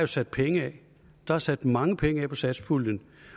sat penge af der er sat mange penge af i satspuljen